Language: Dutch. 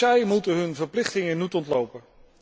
Ook zij mogen hun verplichtingen niet ontlopen.